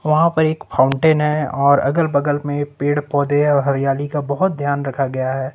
वहां पर एक फाउंटेन है और अगल बगल में पेड़ पौधे हैं हरियाली का बहुत ध्यान रखा गया है।